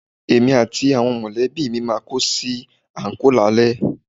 Èmi àti àwọn mọ̀lẹ́bí mi máa kó sí àńkò lálẹ́